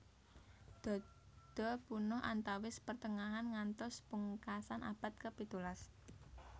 Dodo punah antawis pertengahan ngantos pungkasan abad ke pitulas